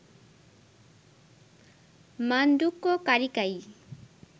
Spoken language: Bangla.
মাণ্ডুক্য কারিকাই